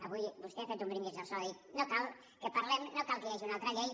avui vostè ha fet un brindis al sol ha dit no cal que parlem no cal que hi hagi una altra llei